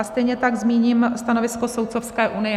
A stejně tak zmíním stanovisko Soudcovské unie.